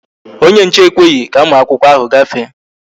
Onye nche ekweghị ka ụmụ akwụkwọ ahụ gafee